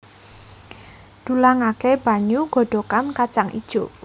Dulangaké banyu godhogan kacang ijo